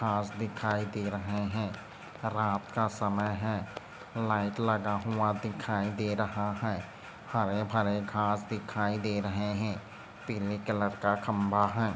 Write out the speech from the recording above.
घास दिखाई दे रहा है रात का समय है। लाइट लगा हुआ दिखाई दे रहा है हरे-भरे घास दिखाई दे रहे है पीली कलर का खंबा है।